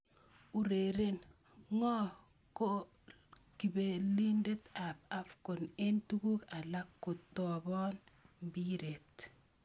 Ureren: Ngo ko kapelindet ab AFCON eng tuguk alak kotopon mbiret?